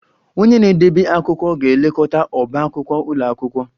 Onye na-edebe akwụkwọ ga-elekọta ọbá akwụkwọ ụlọ akwụkwọ